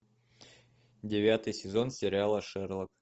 девятый сезон сериала шерлок